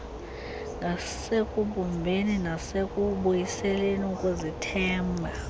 ngasekubumbeni nasekubuyiseleni ukuzithemba